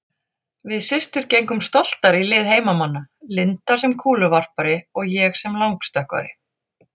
Við systur gengum stoltar í lið heimamanna, Linda sem kúluvarpari og ég sem langstökkvari.